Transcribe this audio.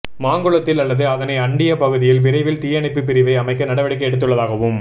மாங்குளத்தில் அல்லது அதனை அண்டிய பகுதியில் விரைவில் தீயணைப்பு பிரிவை அமைக்க நடவடிக்கை எடுத்துள்ளதாகவும்